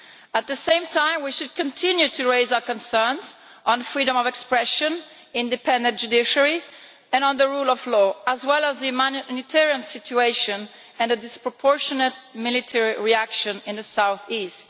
At the same time we should continue to raise our concerns on freedom of expression, an independent judiciary and the rule of law, as well as the humanitarian situation and a disproportionate military reaction in the south east.